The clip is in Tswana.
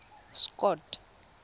scott